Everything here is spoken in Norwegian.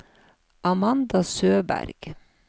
Amanda Søberg